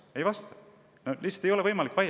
Ei vasta ju sellele!